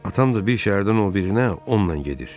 Atam da bir şəhərdən o birinə onunla gedir.